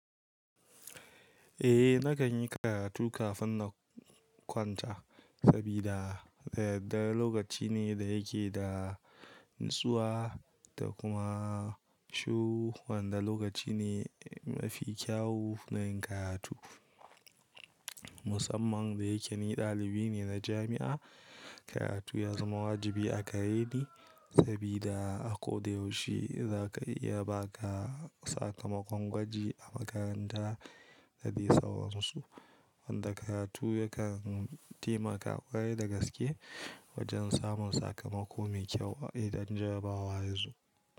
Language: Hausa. Eh, nakan yi karatu kafin na kwanta sabida daddare lokaci ne da yake da natsuwa da kuma shuru wanda lokaci ne mafi kyau na yin karatu. Musamman da yake ni ɗalibi ne na jami'a, karatu ya zama wajibi a gareni sabida a ko da yaushe za ka iya ba ka sakamakon gwaji a makaranta da dai sauransu wanda karatu yakan taimaka kwarai da gaske wajen samun sakamako mai kyau idan jarabawa yazo.